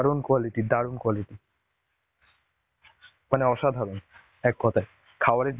দারুন quality দারুন quality, মানে অসাধারণ এক কথায়. খাবারের